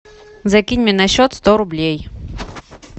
закинь мне на счет сто рублей